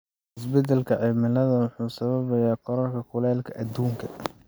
Isbeddelka cimilada wuxuu sababayaa kororka kuleylka adduunka.